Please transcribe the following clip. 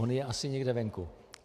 On je asi někde venku.